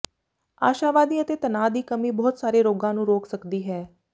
ਆਸ਼ਾਵਾਦੀ ਅਤੇ ਤਨਾਅ ਦੀ ਕਮੀ ਬਹੁਤ ਸਾਰੇ ਰੋਗਾਂ ਨੂੰ ਰੋਕ ਸਕਦੀ ਹੈ